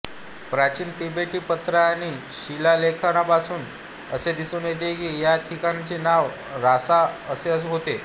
प्राचीन तिबेटी पत्र आणि शिलालेखांपासून असे दिसून येते की ह्या ठिकाणाचे नाव रासा असे होते